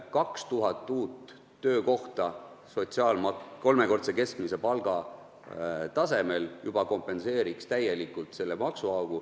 2000 uut töökohta kolmekordse keskmise palga tasemel kompenseeriks täielikult selle maksuaugu.